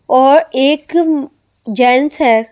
और एक जैन्स है ।